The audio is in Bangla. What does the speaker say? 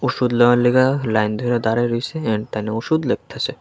ওষুধ লেবার লইগা লাইন ধইরা দাঁড়াই রইছে ওষুধ লেখতাছে।